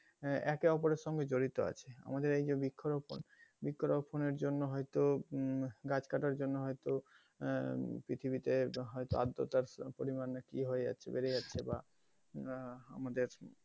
আহ একে অপরের সঙ্গে জড়িত আছে আমাদের এই যে বৃক্ষ রোপণ বৃক্ষ রোপণের জন্য হয়তো উম গাছ কাটার জন্য হয়তো আহ পৃথিবী ে হয়তো আদ্রতার পরিমান কি হয়ে যাচ্ছে বেড়ে যাচ্ছে বা আহ আমাদের,